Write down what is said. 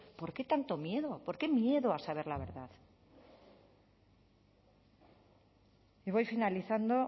por qué tanto miedo por qué miedo a saber la verdad y voy finalizando